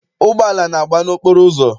Ụgbọala na-agba n'okporo ụzọ.